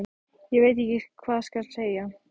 Ég veit ekki hvað skal segja.